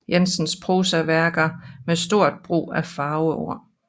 Jensens prosaværker med stort brug af farveord